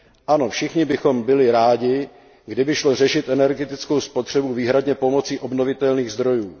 Ano, všichni bychom byli rádi, kdyby šlo řešit energetickou spotřebu výhradně pomocí obnovitelných zdrojů.